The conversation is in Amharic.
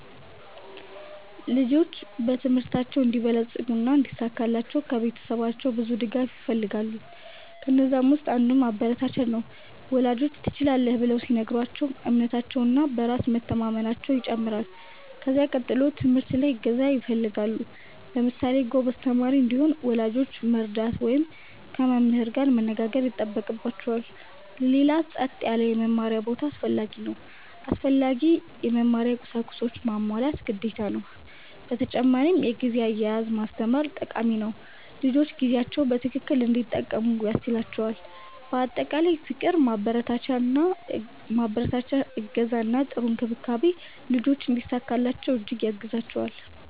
ልጆች በትምህርታቸው እንዲበለጽጉ እና እንዲሳካላቸው ከቤተሰባቸው ብዙ ድጋፍ ይፈልጋሉ። ከነዛም ውስጥ አንዱ ማበረታቻ ነው፤ ወላጆች “ትችላለህ” ብለው ሲነግሯቸው እምነታቸው እና በራስ መቸማመናየው ይጨምራል። ከዚያ ቀጥሎ ትምህርት ላይ እገዛ ይፈልጋሉ። ለምሳሌ ጎበዝ ተማሪ እንዲሆን ወላጆች መርዳት ወይም ከመምህር ጋር መነጋገር ይጠበቅባቸዋል። ሌላው ጸጥ ያለ የመማሪያ ቦታ አስፈላጊ ነው። አስፈላጊ የመማሪያ ቁሳቁሶችንም ማሟላት ግዴታ ነው። በተጨማሪ የጊዜ አያያዝ ማስተማር ጠቃሚ ነው፤ ልጆች ጊዜያቸውን በትክክል እንዲጠቀሙ ያስችላቸዋል። በአጠቃላይ ፍቅር፣ ማበረታቻ፣ እገዛ እና ጥሩ እንክብካቤ ልጆች እንዲሳካላቸው እጅግ ያግዛቸዋል።